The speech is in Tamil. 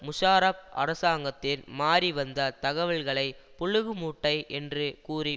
முஷாரப் அரசாங்கத்தின் மாறி வந்த தகவல்களை புளுகு மூட்டை என்று கூறி